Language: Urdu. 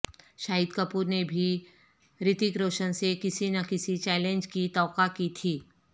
شاہد کپور نے بھی ریتک روشن سے کسی نہ کسی چیلنج کی توقع کی تھی